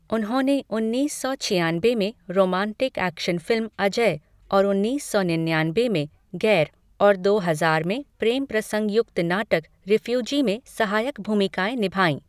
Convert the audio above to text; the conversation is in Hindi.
उन्होंने उन्नीस सौ छियानबे में रोमांटिक एक्शन फिल्म अजय और उन्नीस सौ निन्यानबे में गैर और दो हजार में प्रेमप्रसंग युक्त नाटक रिफ्यूजी में सहायक भूमिकाएं निभाई।